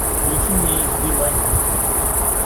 включи мне эйч ди лайф на смотрешке